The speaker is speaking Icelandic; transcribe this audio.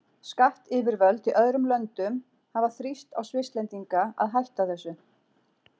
Skattyfirvöld í öðrum löndum hafa þrýst á Svisslendinga að hætta þessu.